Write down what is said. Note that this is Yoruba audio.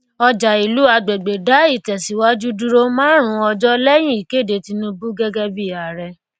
ọjà ìlú agbègbè dá ìtẹsíwájú dúró márùn ọjọ lẹyìn ìkéde tinubu gẹgẹ bí ààrẹ